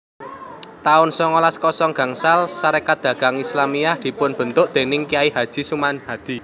taun songolas kosong gangsal Sarékat Dagang Islamiyah dipunbentuk déning Kyai Haji Samanhudi